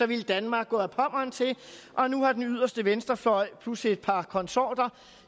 ville danmark gå ad pommern til og nu har den yderste venstrefløj plus et par konsorter